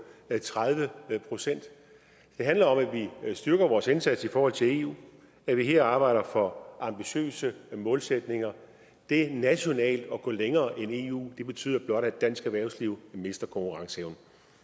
tredive procent det handler om at vi styrker vores indsats i forhold til eu og at vi her arbejder for ambitiøse målsætninger det nationalt at gå længere end eu betyder blot at dansk erhvervsliv mister konkurrenceevne